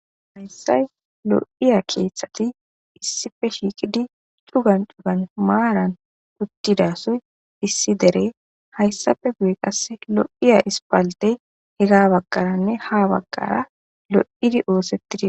Hayssay lo'iya keeththati issife shiikidi cugan dugan maaran uttidasoy issi derey hayssafe guye qasse lo'iya ispaldey hega bagkaranne ha baggara lo7idi oosetti dii.